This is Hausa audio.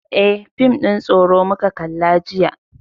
Eh, fim ɗin tsoro muka kalla jiya.